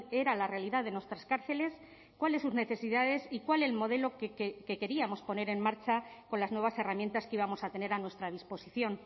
era la realidad de nuestras cárceles cuáles sus necesidades y cuál el modelo que queríamos poner en marcha con las nuevas herramientas que íbamos a tener a nuestra disposición